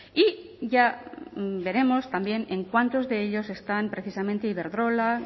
y ya veremos también en cuántos de ellos están precisamente iberdrola